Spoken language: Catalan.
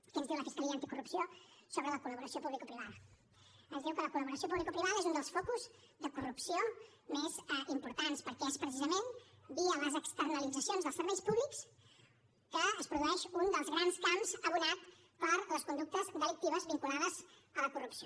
què ens diu la fiscalia anticorrupció sobre la col·laboració publicoprivada ens diu que la col·laboració publicoprivada és un dels focus de corrupció més importants perquè és precisament via les externalitzacions dels serveis públics que es produeix un dels grans camps abonat per a les conductes delictives vinculades a la corrupció